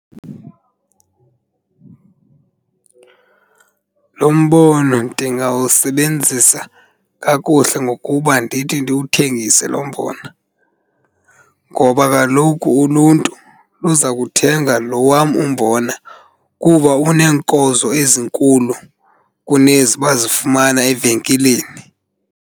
Lo mbono ndingawusebenzisa kakuhle ngokuba ndithi ndiwuthengise lo mbona, ngoba kaloku uluntu luza kuthenga lo wam umbona kuba uneenkozo ezinkulu kunezi bazifumana evenkileni.